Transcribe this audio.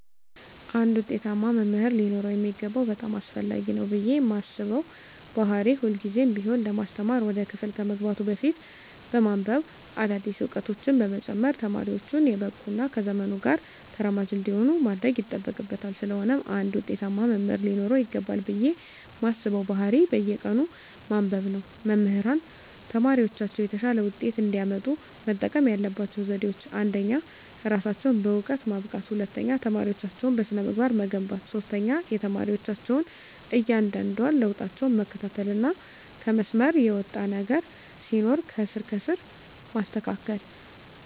አንድ ውጤታማ መምህር ሊኖረው የሚገባው በጣም አስፈላጊ ነው ብየ ማስበው ባህሪ ሁልግዜም ቢሆን ለማስተማር ወደ ክፍል ከመግባቱ በፊት በማንብበ አዳዲስ እውቀቶችን በመጨመር ተማሪወቹን የበቁ እና ከዘመኑ ጋር ተራማጅ እንዲሆኑ ማድረግ ይጠበቅበታል ስለሆነም አንድ ውጤታማ መምህር ሊኖረው ይገባል ብየ ማስበው ባህሪ በየቀኑ ማንበብ ነው። መምህራን ተማሪወቻቸው የተሻለ ውጤት እንዲያመጡ መጠቀም ያለባቸው ዘዴወች አንደኛ እራሳቸውን በእውቀት ማብቃት፣ ሁለተኛ ተማሪወቻቸውን በስነ-ምግባር መገንባት፣ ሶስተኛ የተማሪወቻቸውን እያንዳንዷን ለውጣቸውን መከታተልና ከመስመር የወጣ ነገር ሲኖር ከስር ከስር ማስተካከል።